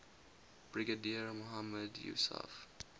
brigadier mohammad yousaf